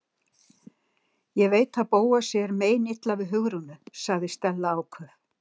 Ég veit að Bóasi er meinilla við Hugrúnu- sagði Stella áköf.